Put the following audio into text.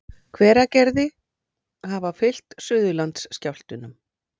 Hveragerði hafa fylgt Suðurlandsskjálftum.